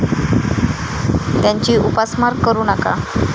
त्यांची उपासमार करू नका.